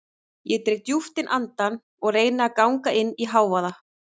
Ég dreg djúpt inn andann og reyni að ganga inn í hávaða